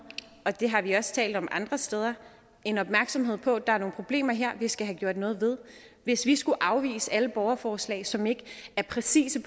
og det har vi også talt om med andre steder en opmærksomhed på at der her er nogle problemer vi skal have gjort noget ved hvis vi skulle afvise alle borgerforslag som ikke er præcise